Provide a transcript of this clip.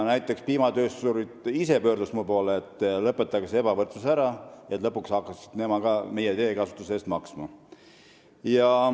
Piimatöösturid ise pöördusid mu poole, et lõpetage see ebavõrdsus ära, et lõpuks hakkaksid ka teised meie teede kasutamise eest maksma.